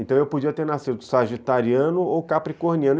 Então eu podia ter nascido sagitariano ou capricorniano.